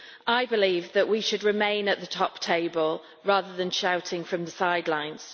I believe that we should remain at the top table, rather than shouting from the sidelines.